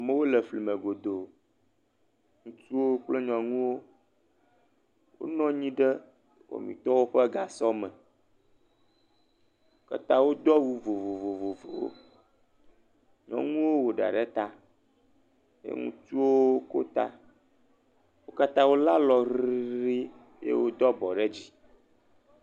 Amewo le fli me godoo. Ŋutsuwo kple nyɔnuwo. Wonɔ anyi ɖe wɔmitɔwo ƒe gasɔ me. Wo katã wodo awu vovovowo. Nyɔnuwo wɔ ɖa ɖe ta ye ŋutsuwo ko ta. Wo katã wo le alɔ heɖii.